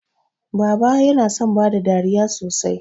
Baba yana son bada dariya sosai.